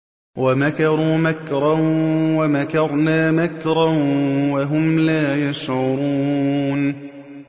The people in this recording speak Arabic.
وَمَكَرُوا مَكْرًا وَمَكَرْنَا مَكْرًا وَهُمْ لَا يَشْعُرُونَ